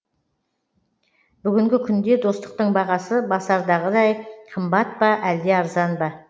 бүгінгі күнде достықтың бағасы басардағыдай қымбат па әлде арзан ба